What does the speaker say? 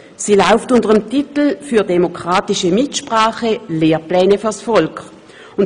Sie trägt den Titel «Für demokratische Mitsprache – Lehrpläne vors Volk!».